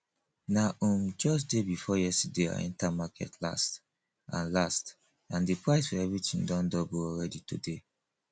na um just day before yesterday i enter market last and last and the price for everything don double already today